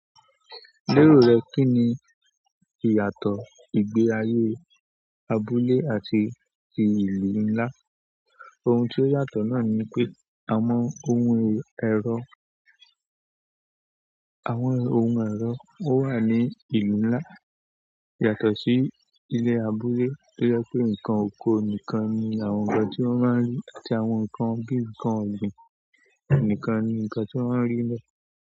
Ní ìró rẹ, kín ní ìyàtọ̀ ìgbé ayé abúlé àti ìlú nlá? Ohun tí ó yàtọ̀ náà ni pé àwọn ohun ẹ̀rọ, àwọn ohun ẹ̀rọ ó wà ní ìlú nlá yàtọ̀ sí ilé abúlé tí ó jẹ́ pé nǹkan oko nìkan ni àwọn nǹkan tí wọ́n máa ń rí àti àwọn nǹkan gígùn kan ọgbin nìkan ni nǹkan tí wọ́n máa ń rí lọ.